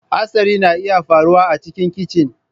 Hatsari na iya faruwa a cikin kicin.